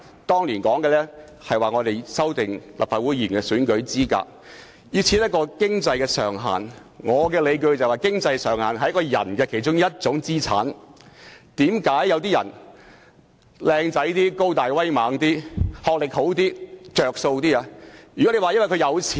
當年在討論有關立法會議員選舉資格時，有建議設立經濟上限，但我認為經濟上限屬於個人資產之一，就正如有些人外貌英俊、高大威猛和學歷較高會較佔優一樣。